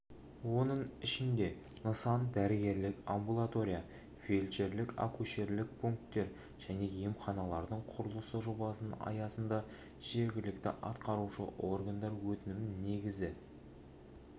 оның ішінде нысан дәрігерлік амбулатория фельдшерлік-акушерлік пункттер және емханалардың құрылысы жобасының аясында жергілікті атқарушы органдар өтінімінің негізінде республикалық және жергілікті